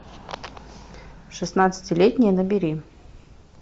шестнадцатилетняя набери